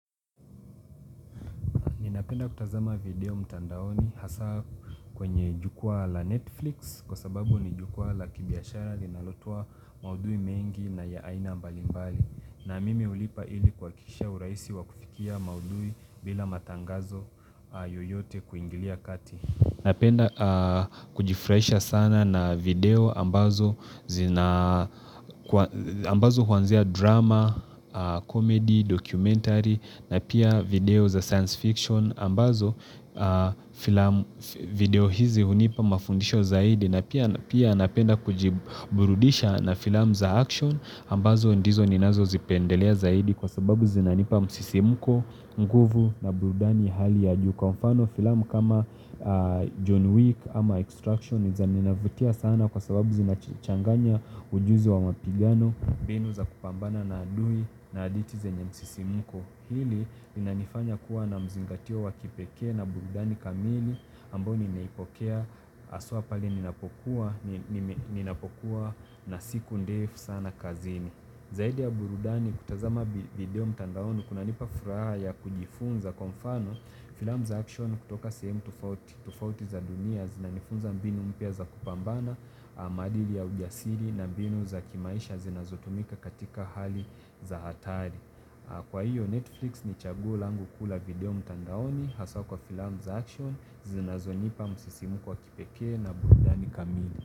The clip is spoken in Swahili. Ninapenda kutazama video mtandaoni hasa kwenye jukwaa la Netflix kwa sababu ni jukwaa la kibiashari linalotoa maudhui mengi na ya aina mbalimbali. Na mimi hulipa ili kuhakikisha urahisi wa kufikia maudhui bila matangazo yoyote kuingilia kati. Napenda kujifraisha sana na video ambazo huanzia drama, comedy, documentary, na pia video za science fiction, ambazo video hizi hunipa mafundisho zaidi, na pia napenda kujiburudisha na film za action, ambazo ndizo ninazo zipendelea zaidi kwa sababu zinanipa msisimuko, nguvu na burudani hali ya juka. Kwa mfano filamu kama John Wick ama Extraction zinavutia sana kwa sababu zinachanganya ujuzi wa mapigano mbinu za kupambana na adui na hadithi zenye msisimuko. Hili inanifanya kuwa na mzingatio wa kipekee na burudani kamili ambayo nimeipokea haswa pale ninapokuwa na siku ndefu sana kazini. Zaidi ya burudani kutazama video mtandaoni kunanipa furaha ya kujifunza kwa mfano filamu za action kutoka sehemu tufauti za dunia zinanifunza mbinu mpya za kupambana, maadili ya ujasiri na mbinu za kimaisha zinazotumika katika hali za hatari. Kwa hiyo Netflix ni chaguo langu kula video mtandaoni haswa kwa filamu za action zinazonipa msisimuko wa kipekee na burudani kamili.